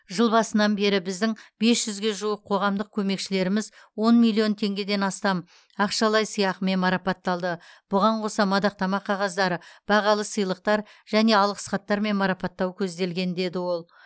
жыл басынан бері біздің бес жүзге жуық қоғамдық көмекшілеріміз он миллион теңгеден астам ақшалай сыйақымен марапатталды бұған қоса мадақтама қағаздары бағалы сыйлықтар және алғыс хаттармен марапаттау көзделген деді ол